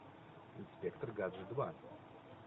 инспектор гаджет два